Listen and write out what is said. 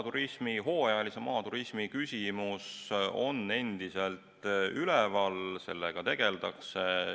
Jah, see hooajalise maaturismi küsimus on endiselt üleval, sellega tegeldakse.